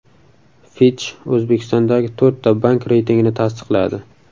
Fitch O‘zbekistondagi to‘rtta bank reytingini tasdiqladi.